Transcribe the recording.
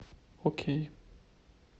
окей